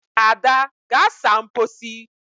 Ada gaa saa mposi.